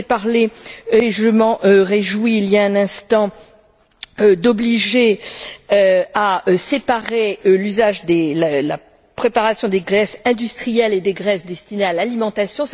Vous avez parlé, et je m'en réjouis, il y a un instant, d'obliger à séparer l'usage de la préparation des graisses industrielles et des graisses destinées à l'alimentation.